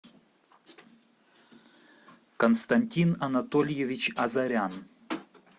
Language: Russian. константин анатольевич азарян